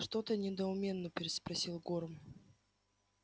что-то недоуменно переспросил горм